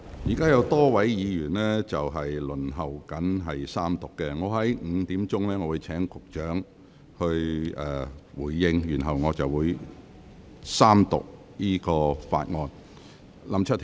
現時有多位議員輪候在三讀辯論發言，我會在下午5時請局長發言，然後將三讀議案付諸表決。